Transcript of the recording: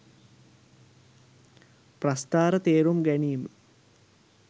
ප්‍රස්ථාර තේරුම් ගැනීම